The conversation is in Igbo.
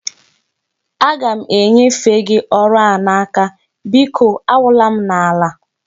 Aga m enyefe gi ọrụ a n'aka, biko awụla m n'ala